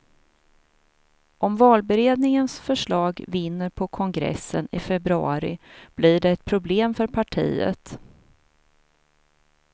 Om valberedningens förslag vinner på kongressen i februari blir det ett problem för partiet.